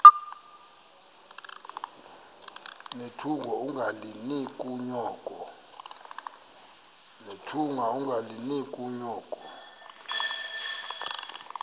nethunga ungalinik unyoko